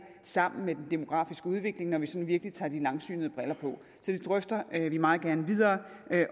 sammen med den demografiske udvikling når vi sådan virkelig tager de langsynede briller på det drøfter vi meget gerne videre